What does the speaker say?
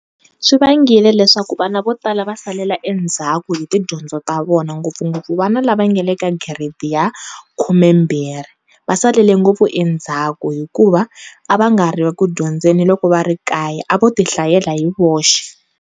Swi vangile leswaku vana vo tala va salela endzhaku hi ti dyondzo ta vona ngopfungopfu vana la va nga le ka giredi ya khumembirhi va salele ngopfu endzhaku hikuva a va nga ri ku dyondzeni loko va ri ekaya a vo ti hlayela hi voxe.